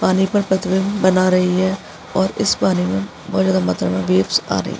पानी पर पतरंग बना रही है और इस पानी में वेव्स आ रही।